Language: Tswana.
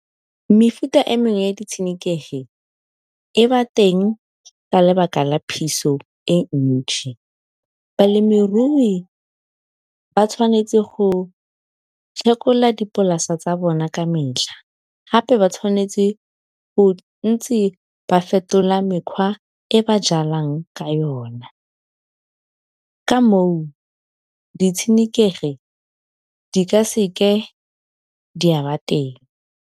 Mefuta e mengwe ya di tshenekegi e ba teng ka lebaka la phiso e ntšhi. Balemirui ba tshwanetse go phekola dipolase tsa bona ka metlha, gape ba tshwanetse go ntse ba fetola mekgwa e ba jalang ka yona ka moo di tshenekegi di ka seke di a teng.